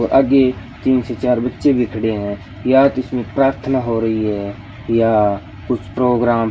आगे तीन से चार बच्चे भी खड़े हैं या तो उसमें प्रार्थना हो रही है या कुछ प्रोग्राम --